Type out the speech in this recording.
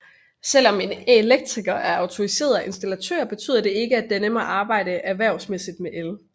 Selv om en elektriker er autoriseret installatør betyder det ikke at denne må arbejde erhvervsmæssigt med el